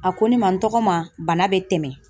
A ko ne ma n tɔgɔma bana bɛ tɛmɛ